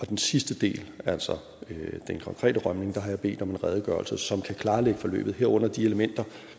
den sidste del altså den konkrete rømning har jeg bedt om en redegørelse som kan klarlægge forløbet herunder de elementer